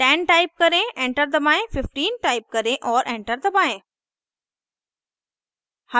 10 type करें enter दबाएं 15 type करें और एंटर दबाएं